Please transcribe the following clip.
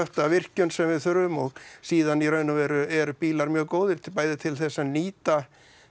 af virkjun sem við þurfum og síðan í raun og veru eru bílar mjög góðir bæði til þess að nýta